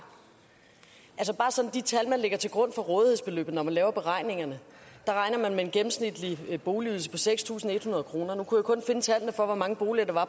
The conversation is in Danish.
i de tal man lægger til grund for rådighedsbeløbet når man laver beregningerne regner man med en gennemsnitlig boligydelse på seks tusind en hundrede kroner nu kunne jeg kun finde tallene for hvor mange boliger